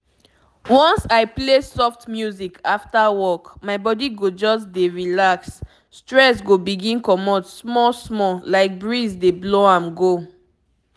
once i play soft music after work my body go just dey relax stress go begin comot small small like breeze dey blow am go.